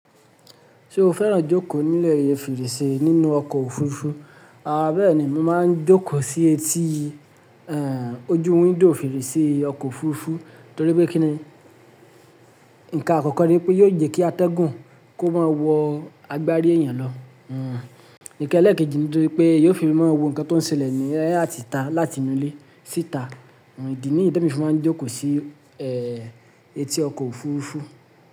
Ṣé o fẹ́ràn jókòó ní ilẹ̀ feresẹ̀ nínú ọkọ̀ òfurufú? Àrá bẹ́ẹ̀ ni mo máa ń jókòó sí etí, ẹ́, ojú window ferese ọkọ̀ òfurufú torí pé kí ni, ǹkan àkọ́kọ́ ni pé yiò je kí atẹ́gùn kó máa wọ agbári èèyàn lọ. Hmm, nkan lẹ́ẹ̀kejì ni torí pé eyan yiò fi máa wo ǹkan tó ń ṣẹlẹ̀ ní ẹ́ àti ta láti inú ilé síta. Ìdí nìyí temi n fi máa ń jókòó sí, ẹ́, etí ọkọ̀ òfurufú.